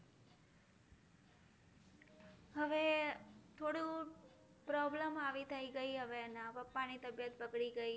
હવે થોડું problem આવી થઈ ગઈ હવે અને પપ્પાની તબિયત બગડી ગઈ તો